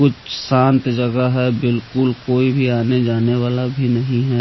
कुछ शांत जगह है बिलकुल कोई भी आने-जाने वाला भी नहीं है।